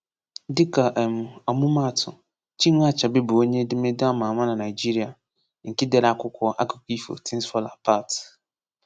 Dịka um ọmụmaatụ, “Chinua Achebe” bụ onye edemede a ma ama na Nigeria nke dere akwụkwọ akụkọ ifo “Things Fall Apart.”